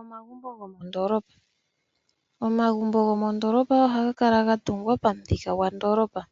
Omagumbo gomondoolopa. Omagumbo gomondoolopa ohaga kala ga tungwa pamuthika gondoolopa.